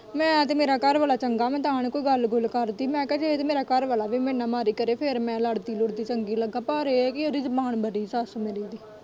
ਮੈਂ ਤੇ ਮੇਰੇ ਘਰਵਾਲਾ ਚੰਗਾ ਮੈਂ ਤਾਂ ਨੀ ਕੋਈ ਗੱਲ-ਗੂਲ ਕਰਦੀ ਮੈਂ ਕਿਹਾ ਜੇ ਤੇ ਮੇਰਾ ਘਰਵਾਲਾ ਵੀ ਮੇਰੇ ਨਾਲ਼ ਮਾੜੀ ਕਰੇ ਫੇਰ ਮੈਂ ਲੜਦੀ-ਲੂੜਦੀ ਚੰਗੀ ਲੱਗਾ ਪਰ ਇਹ ਹੈ ਕਿ ਉਹਦੀ ਜ਼ੁਬਾਨ ਬੜੀ ਏ ਸੱਸ ਮੇਰੀ ਦੀ।